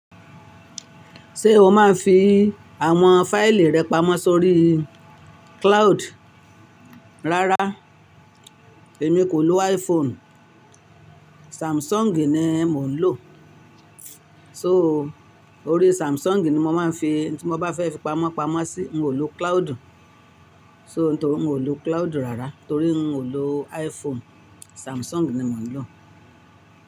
Ṣé o máa ń fi àwọn fáìlì rẹ pamọ́ sórí cloud? Rárá, èmi kò lo iPhone, Samsung ni mò ń lò. So, orí Samsung ni mo máa ń fi tí mo bá fẹ́ fi pamọ́ pamọ́ sí, n ò lo cloud. So n torí n ò lo cloud rárá, torí n ò lo iPhone, Samsung ni mò ń lò.